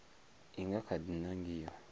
i nga kha di nangiwa